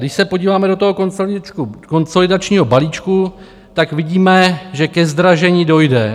Když se podíváme do toho konsolidačního balíčku, tak vidíme, že ke zdražení dojde.